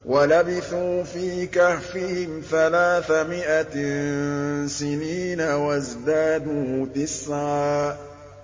وَلَبِثُوا فِي كَهْفِهِمْ ثَلَاثَ مِائَةٍ سِنِينَ وَازْدَادُوا تِسْعًا